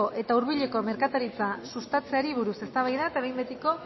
eta hurbileko merkataritza sustatzeari buruz eztabaida eta behin betiko